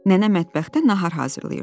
Nənə mətbəxdə nahar hazırlayırdı.